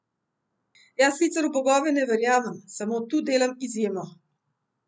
Jaz sicer v bogove ne verjamem, samo tu delam izjemo.